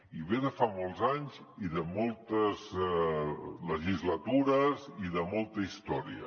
i ve de fa molts anys i de moltes legislatures i de molta història